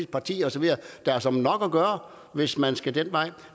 partier og så videre der er såmænd nok at gøre hvis man skal den vej